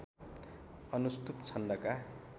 अनुष्टुप् छन्दका